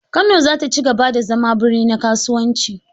Kano za ta ci gaba da zama birni na kasuwanci.